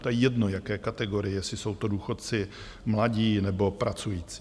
To je jedno, jaké kategorie, jestli jsou to důchodci, mladí nebo pracující.